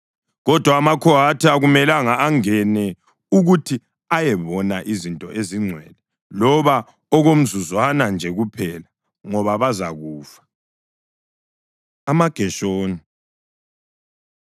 Kodwa amaKhohathi akumelanga angene ukuthi ayebona izinto ezingcwele, loba okomzuzwana nje kuphela, ngoba bazakufa.” AmaGeshoni